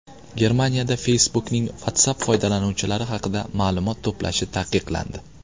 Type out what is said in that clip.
Germaniyada Facebook’ning WhatsApp foydalanuvchilari haqida ma’lumot to‘plashi taqiqlandi.